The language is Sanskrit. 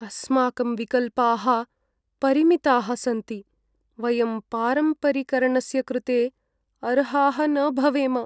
अस्माकं विकल्पाः परिमिताः सन्ति! वयं पारम्परिकर्णस्य कृते अर्हाः न भवेम।